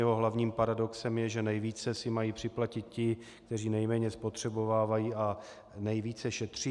Jeho hlavním paradoxem je, že nejvíce si mají připlatit ti, kteří nejméně spotřebovávají a nejvíce šetří.